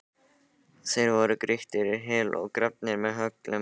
Þeir voru grýttir í hel og grafnir með öllum reiðtygjum.